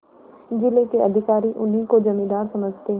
जिले के अधिकारी उन्हीं को जमींदार समझते